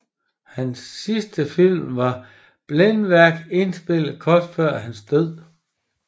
Hans sidste film var Blændværk indspillet kort før hans død